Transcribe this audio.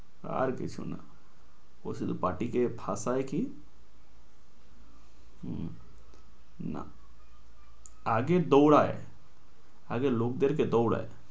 আর কিছু না। প্রচুর party কে হাঁপায়ে কি। না আগে দোঁড়ায়, লোকদের কে দোঁড়ায়।